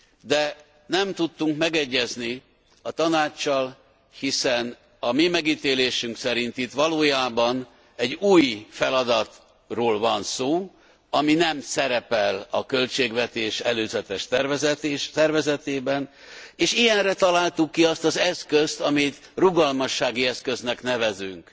De nem tudtunk megegyezni a Tanáccsal, hiszen a mi megítélésünk szerint itt valójában egy új feladatról van szó, ami nem szerepel a költségvetés előzetes tervezetében, és ilyenre találtuk ki azt az eszközt, amit rugalmassági eszköznek nevezünk.